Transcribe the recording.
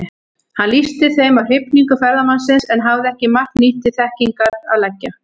Hann lýsti þeim af hrifningu ferðamannsins, en hafði ekki margt nýtt til þekkingar að leggja.